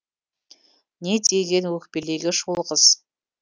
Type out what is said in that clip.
не деген өкпелегіш ол қыз